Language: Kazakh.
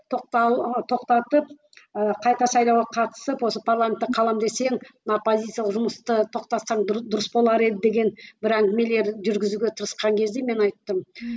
тоқтал тоқтатып ы қайта сайлауға қатысып осы парламетте қаламын десең мына позициялы жұмысты тоқтатсаң дұрыс болар еді деп бір әңгімелер жүргізуге тырысқан кезде мен айттым